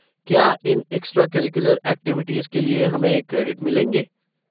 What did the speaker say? क्या इन extracurricular activities के लिए हमें क्रेडिट मिलेंगे?